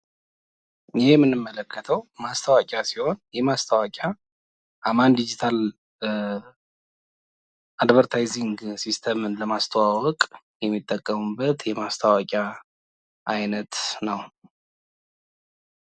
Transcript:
ይህ የምንመለከተው ማስታወቂያ ሲሆን የማስታወቂያ አማን ዲጂታል አድቨርታይዝድ ሲስተምን ለማስተዋወቅ የሚጠቀሙበት የማስታወቂያ አይነት ነው።